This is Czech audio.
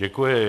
Děkuji.